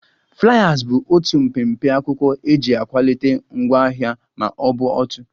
Fliers bụ otu mpempe akwụkwọ eji akwalite ngwaahịa ma ọ bụ òtù